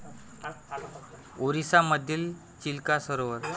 ओरिसा मधील चिल्का सरोवर